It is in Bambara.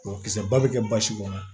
Mɔgɔkisɛba bɛ kɛ basi kɔnɔ